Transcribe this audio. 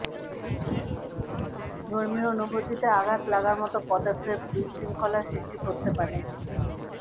ধর্মীয় অনুভূতিতে আঘাত লাগার মতো পদক্ষেপ বিশৃঙ্খলা সৃষ্টি করতে পারে